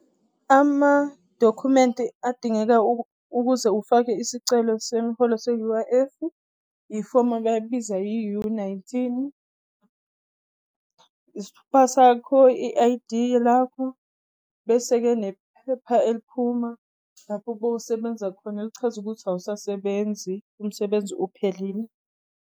Amadokhumenti adingeka ukuze ufake isicelo semiholo se-U_I_F-u ifomu abalibiza i-U-nineteen, isithupha sakho, i-I_D lakho, bese-ke nephepha eliphuma lapho bowusebenza khona alichaze ukuthi awusasebenzi, umsebenzi uphelile.